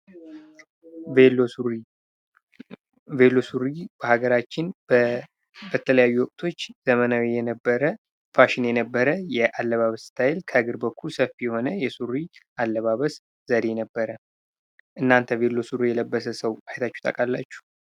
ቬሎ ሱሪ ፦ ቬሎ ሱሪ በሀገራችን በተለያዩ ወቅቶች ዘመናዊ የነበረ ፋሽን የነበረ ያለባበስ ስታይል ከእግር በኩል ሰፊ የሆነ የሱሪ አለባበስ ዘዴ ነበረ ። እናንተ ቬሎ ሱሪ የለበሰ ሰው አይታችሁ ታውቃላችሁ ።